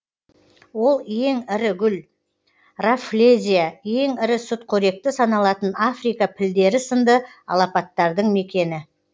ол ең ірі гүл раффлезия ең ірі сүтқоректі саналатын африка пілдері сынды алапаттардың мекені